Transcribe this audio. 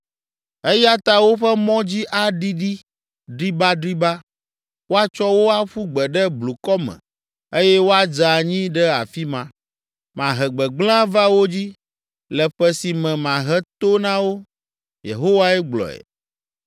“Eya ta woƒe mɔ dzi aɖiɖi dribadriba, woatsɔ wo aƒu gbe ɖe blukɔ me eye woadze anyi ɖe afi ma. Mahe gbegblẽ ava wo dzi le ƒe si me mahe to na wo.” Yehowae gblɔe.